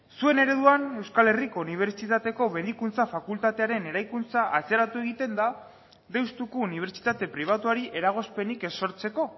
zuen ereduan euskal herriko unibertsitateko medikuntza fakultatearen eraikuntza atzeratu egiten da deustuko unibertsitate pribatuari eragozpenik ez sortzeko